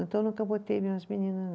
Então eu nunca botei minhas meninas